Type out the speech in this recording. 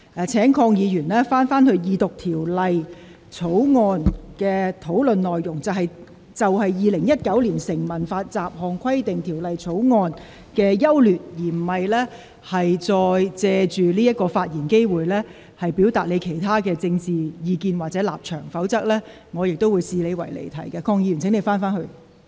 鄺議員，請你返回這項二讀辯論的議題，就《2019年成文法條例草案》的整體優劣進行辯論，而不是借此發言機會，表達你的其他政見或立場，否則我亦會視你的發言離題。